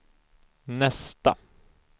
nästa